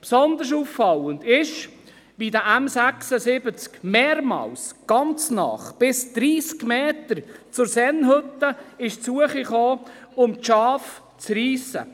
Besonders auffallend ist, wie dieser M76 mehrmals ganz nahe, bis 30 Meter, zur Sennhütte gekommen ist, um die Schafe zu reissen.